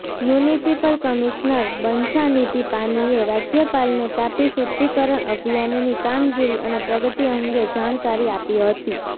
municipal commissioner Banchhanidhi પાનીએ રાજ્યપાલને તાપી શુદ્ધિકરણ અભિયાનની કામગીરી અને પ્રગતિ અંગે જાણકારી આપી હતી